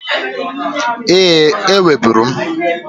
Ee, enweburu m